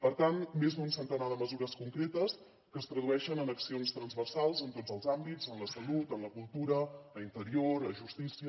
per tant més d’un centenar de mesures concretes que es tradueixen en accions transversals en tots els àmbits en la salut en la cultura a interior a justícia